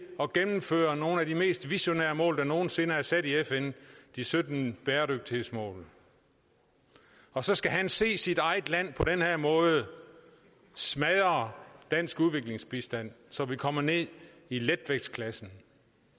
at gennemføre nogle af de mest visionære mål der nogen sinde er sat i fn de sytten bæredygtighedsmål og så skal han se sit eget land på den her måde smadre dansk udviklingsbistand så vi kommer ned i letvægtsklassen